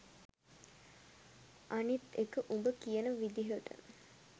අනිත් එක උඹ කියන විදියට